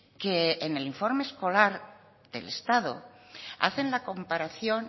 que en el informe escolar del estado hacen la comparación